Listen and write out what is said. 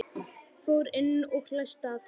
Fór inn og læsti að sér.